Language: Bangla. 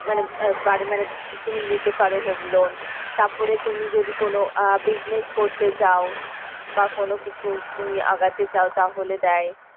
মানে আহ বাড়ি মানে তুমি নিতে পারো home loan তারপরে তুমি যদি কোনো আহ business করতে চাও বা কোনো কিছু তুমি আগাতে চাও তাহলে দেয়।